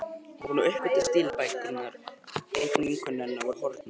Hún var búin að uppgötva að stílabækurnar, einu vinkonur hennar, voru horfnar.